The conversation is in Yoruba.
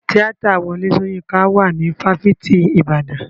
Tíátà Wọlé Soyinka wà ní fáfitì ìbàdàn.